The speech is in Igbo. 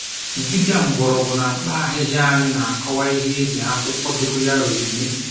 Dibịa mgbọrọgwụ na mkpa ahịhịa anyị na-akọwa ihe e ji akwụkwọ dogoyaro eme